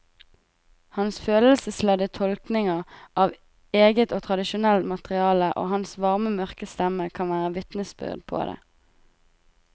Hans følelsesladde tolkninger av eget og tradisjonelt materiale og hans varme mørke stemme kan være vitnesbyrd på det.